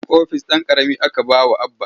Ofis ɗan ƙarami aka ba wa Abba.